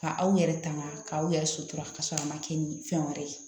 Ka aw yɛrɛ tanga k'aw yɛrɛ sutura ka sɔrɔ a ma kɛ ni fɛn wɛrɛ ye